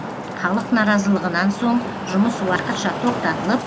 халық наразылығынан соң жұмыс уақытша тоқтатылып